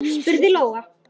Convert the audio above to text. spurði Lóa.